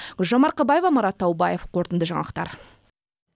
гүлжан марқабаева марат таубаев қорытынды жаңалықтар